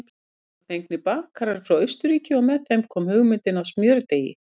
Þá voru fengnir bakarar frá Austurríki og með þeim kom hugmyndin að smjördeigi.